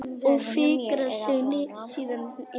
Og fikrar sig síðan innar?